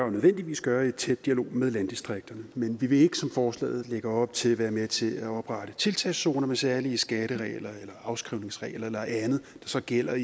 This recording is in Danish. og nødvendigvis gøre i tæt dialog med landdistrikterne men vi vil ikke som forslaget lægger op til være med til at oprette tiltagszoner med særlige skatteregler eller afskrivningsregler eller andet der så gælder